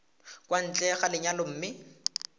kwa ntle ga lenyalo mme